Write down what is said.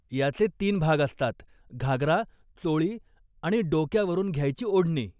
याचे तीन भाग असतात घागरा, चोळी आणि डोक्यावरून घ्यायची ओढणी.